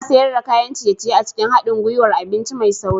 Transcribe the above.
Ana sayar da kayan ciye-ciye a cikin haɗin gwiwar abinci mai sauri